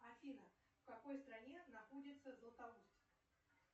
афина в какой стране находится златоуст